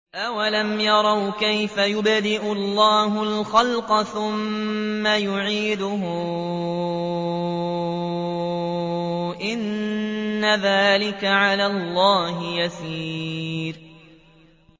أَوَلَمْ يَرَوْا كَيْفَ يُبْدِئُ اللَّهُ الْخَلْقَ ثُمَّ يُعِيدُهُ ۚ إِنَّ ذَٰلِكَ عَلَى اللَّهِ يَسِيرٌ